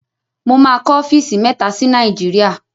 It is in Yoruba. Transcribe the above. Mo máa kọ ọ́fíìsì mẹ́ta sí Nàìjíríà.